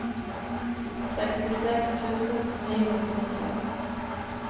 sekstiseks tusen ni hundre og tolv